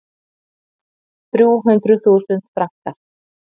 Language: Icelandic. Þrjú hundruð þúsund frankar.